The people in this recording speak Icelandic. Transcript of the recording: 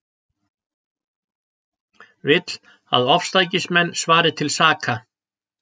Vill að ofstækismenn svari til saka